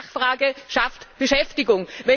Nachfrage schafft Beschäftigung.